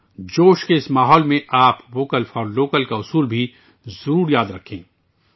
جوش و خروش کے اس ماحول میں آپ کو ووکل فار لوکل کا منتر بھی یاد رکھنا چاہیے